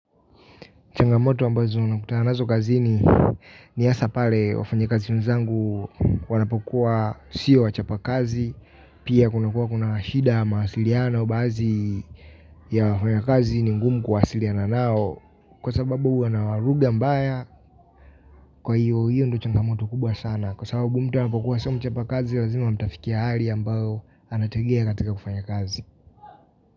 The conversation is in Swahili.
Changamoto ambazo nakutana nazo kazini ni hasa pale wafanyikazi wenzangu wanapokuwa sio wachapa kazi. Pia kuna kuwa kuna shida ya mawasiliano bazi ya wafanya kazi ni ngumu kuwasiliana nao. Kwa sababu wana lugha mbaya kwa hiyo hiyo ndo changamoto kubwa sana. Kwa sababu mtu anapokuwa sio mchapa kazi lazima mtafikia hali ambayo anategea katika kufanya kazi.